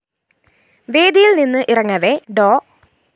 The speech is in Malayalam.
വേദിയില്‍ നിന്ന് ഇറങ്ങവേ ഡോ